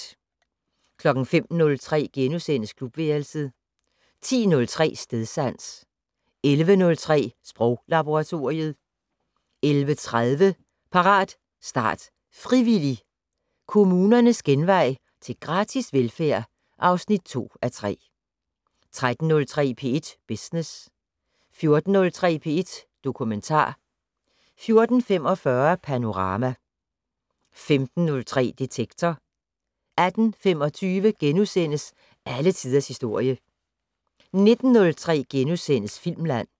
05:03: Klubværelset * 10:03: Stedsans 11:03: Sproglaboratoriet 11:30: Parat, start, frivillig! - Kommunernes genvej til gratis velfærd (2:3) 13:03: P1 Business 14:03: P1 Dokumentar 14:45: Panorama 15:03: Detektor 18:25: Alle tiders historie * 19:03: Filmland *